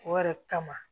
O yɛrɛ kama